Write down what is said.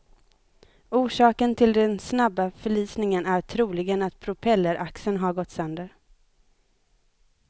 Orsaken till den snabba förlisningen är troligen att propelleraxeln har gått sönder.